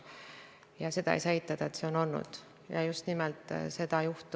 Kuigi Jevgeni küsimus oli väga asjakohane, ei olnud see protseduuriline, nii et teil on järjekordselt õigus.